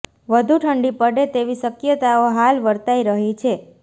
વધુ ઠંડી પડે તેવી શકયતાઓ હાલ વર્તાઇ રહી છે